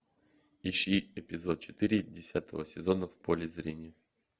ищи эпизод четыре десятого сезона в поле зрения